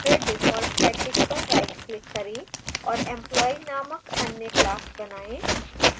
फिर default package पर rightclick करें और employee नामक अन्य class बनाएँ